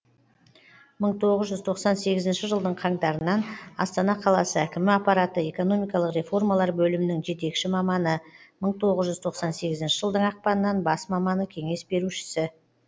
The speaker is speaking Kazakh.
мың тоғыз жүз тоқсан сегізінші жылдың қаңтарынан астана қаласы әкімі аппараты экономикалық реформалар бөлімінің жетекші маманы мың тоғыз жүз тоқсан сегізінші жылдың ақпанынан бас маманы кеңес берушісі